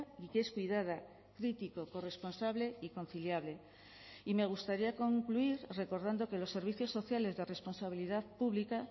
y que es cuidada critico corresponsable y conciliable y me gustaría concluir recordando que los servicios sociales de responsabilidad pública